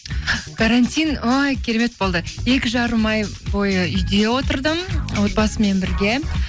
карантин ой керемет болды екі жарым ай бойы үйде отырдым отбасыммен бірге